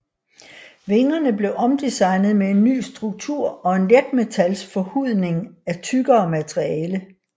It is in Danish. Vingerne blev omdesignet med en ny struktur og en letmetals forhudning af tykkere materiale